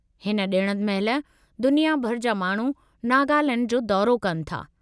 हिन ॾिण महिल दुनिया भर जा माण्हू नागालैंड जो दौरो कनि था।